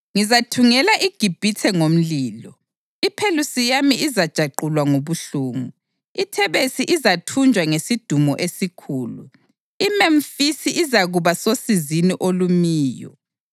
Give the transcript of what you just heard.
Ngizathungela iGibhithe ngomlilo; iPhelusiyami izajanqula ngobuhlungu. IThebesi izathunjwa ngesidumo esikhulu; iMemfisi izakuba sosizini olumiyo.